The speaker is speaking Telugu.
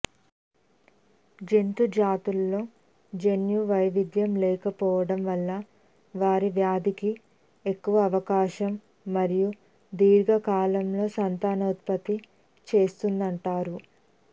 జంతు జాతులలో జన్యు వైవిధ్యం లేకపోవటం వలన వారు వ్యాధికి ఎక్కువ అవకాశం మరియు దీర్ఘకాలంలో సంతానోత్పత్తి చేస్తుంటారు